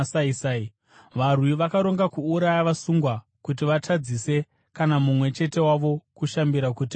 Varwi vakaronga kuuraya vasungwa kuti vatadzise kana mumwe chete wavo kushambira kuti apunyuke.